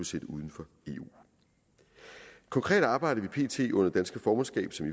sendt uden for eu konkret arbejder vi pt under det danske formandskab som